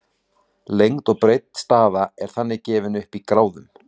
lengd og breidd staða er þannig gefin upp í gráðum